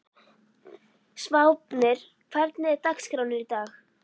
Sváfnir, hvernig er dagskráin í dag?